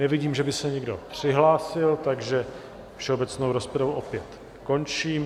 Nevidím, že by se někdo přihlásil, takže všeobecnou rozpravu opět končím.